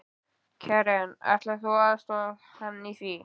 Karen: Ætlar þú að aðstoða hann í því?